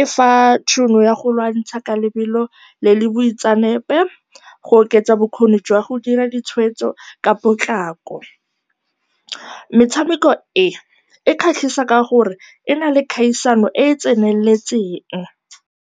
e fa tšhono ya go lwantsha ka lebelo le le boitseanape, go oketsa bokgoni jwa go dira ditshweetso ka potlako. Metshameko e e kgatlhisa ka gore ena le kgaisano e e tseneletseng.